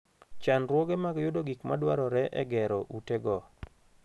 Chandruoge mag yudo gik madwarore e gero ute go.